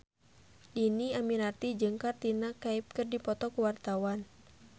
Dhini Aminarti jeung Katrina Kaif keur dipoto ku wartawan